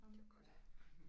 Det var godt